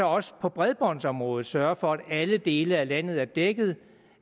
også på bredbåndsområdet sørger for at alle dele af landet er dækket